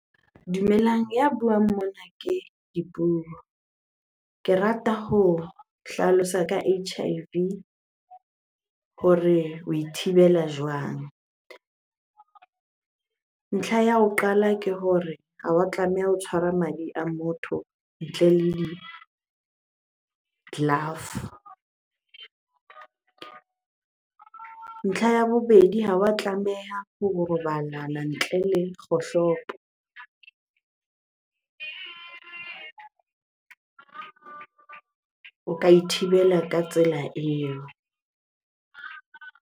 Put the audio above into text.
Dumelang, ya buang mona ke Dipuo. Ke rata ho hlalosa ka H_I_V hore oe thibela jwang? Ntlha ya ho qala ke hore ha wa tlameha ho tshwara madi a motho ntle le di-glove. Ntlha ya bobedi, ha wa tlameha ho robalana ntle le kgohlopo. O ka e thibela ka tsela eo.